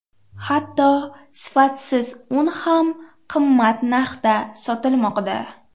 Hatto sifatsiz un ham qimmat narxda sotilmoqda.